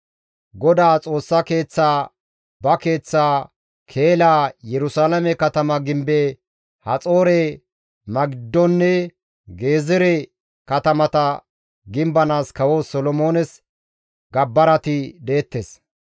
GODAA Xoossa Keeththaa, ba keeththaa, Keela, Yerusalaame katama gimbe, Haxoore, Magiddonne Gezeere katamata gimbanaas kawo Solomoones gabbarati deettes.